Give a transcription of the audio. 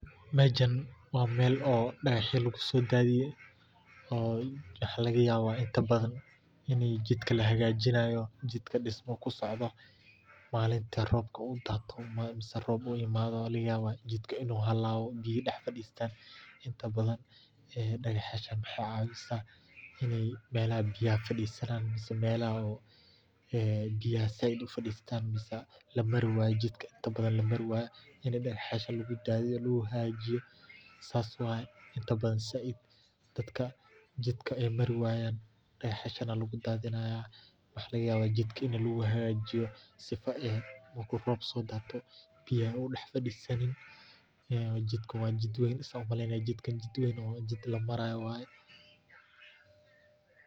Mejan waa mel dagahyo lagu so dathiye waxa laga yaba waa mel oo inta badan oo jidka lahagajinayo oo jidkka dhismo kusocdo malinta robka u dhato oo sabab ay tahay laga yabo ini jidka u halawe oo biyo dah fadistan. Hadana dahanta waxey cawiyan melaha biyaha zaid u fadistan oo jidka lamari wayo oo dagah yasho lagu dadiyo lagu hagajiyo sas waye inta badan .Dadka jidka ay mari wayan dagah yashan aya lagu dadhinaya oo maxa laga yaba ini la mari wayo sifaa marki robku so dato biyo u dax fadisanin oo lamari weynin wayo jdikan wa jid lamaro oo weyn.